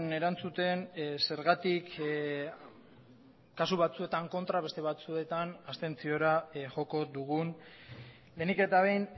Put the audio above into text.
erantzuten zergatik kasu batzuetan kontra beste batzuetan abstentziora joko dugun lehenik eta behin